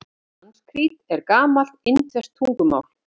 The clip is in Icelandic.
Sanskrít er gamalt indverskt tungumál.